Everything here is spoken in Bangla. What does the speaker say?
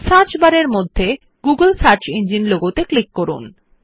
সার্চ বার এর মধ্যে গুগল সার্চ ইঞ্জিন লোগোতে ক্লিক করুন